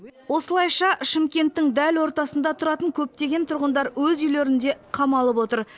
осылайша шымкенттің дәл ортасында тұратын көптеген тұрғындар өз үйлерінде қамалып отыр